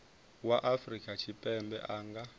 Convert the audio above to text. wa afrika tshipembe a nga